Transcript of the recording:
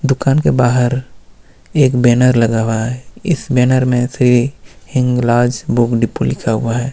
दुकान के बाहर एक बैनर लगा हुआ है इस बैनर में से हिंगलाज बुक डिपो लिखा हुआ है।